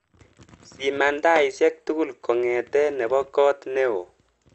Siman taishek tugul kongete nebo koot neo